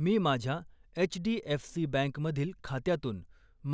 मी माझ्या HDFC bank मधील खात्यातून